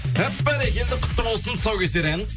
әп бәрекелді құтты болсын тұсаукесер ән